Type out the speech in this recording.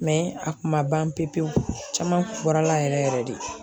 a kun ma ban pewu pewu caman bɔra yɛrɛ yɛrɛ de.